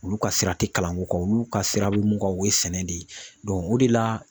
Olu ka sira tɛ kalanko kan olu ka sira bɛ mun kan o ye sɛnɛ de ye o de la.